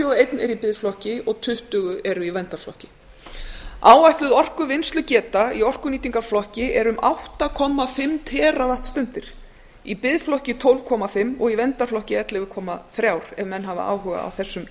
og eitt er í biðflokki og tuttugu eru í verndarflokki áætluð orkuvinnslugeta í orkunýtingarflokki er um átta og hálft teravattstundir í biðflokki tólf komma fimm og í verndarflokki ellefu komma þrjú ef menn hafa áhuga á þessum